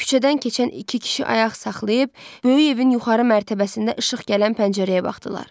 Küçədən keçən iki kişi ayaq saxlayıb böyük evin yuxarı mərtəbəsində işıq gələn pəncərəyə baxdılar.